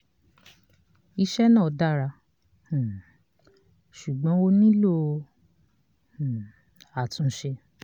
iṣẹ́ náà dára um ṣùgbọ́n ó nílò um àtúnṣe.